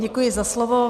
Děkuji za slovo.